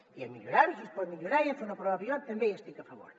i hem de millorar ho si es pot millorar i hem de fer una prova pilot també hi estic a favor